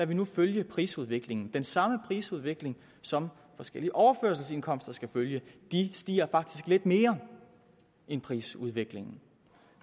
vi nu følge prisudviklingen den samme prisudvikling som forskellige overførselsindkomster skal følge de stiger faktisk lidt mere end prisudviklingen